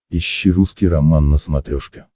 ищи русский роман на смотрешке